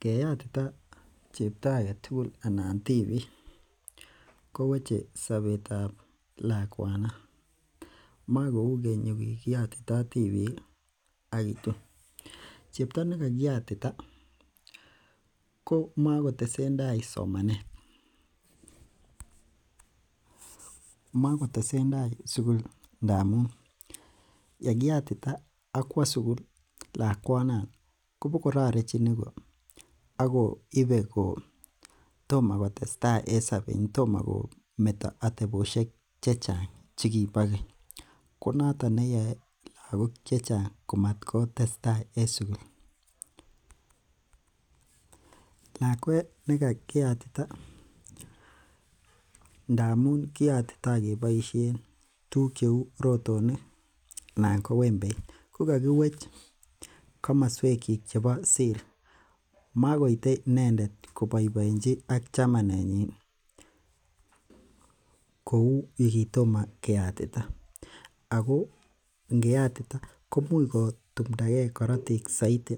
Keyatita chepto aketugul anan tibik koweche sobet ab lakwanon makou keny yukikiyotitoo tibiik ih ak kitun. Chepto nekakiyatita komakotesentai somanet motesentai sukul ndamun yekiyatita akwo sugul lakwanon kobokororechin iko akoibe ko kotomokotestai en sobet tomo kometo atebosiek chechang chekibo keny, konoton neyoe lagok chechang komakotestaa en sugul, lakwet ne kakiyatita ndamun kiyotito keboisien tuguk cheu rotonok anan ko wembeit kokokiwech komoswek kyik chebo siri makoite inendet koboiboenji ak chamanenyi kou yukitomo keyatita ako ngeyatita komuch kotumdagee korotik soiti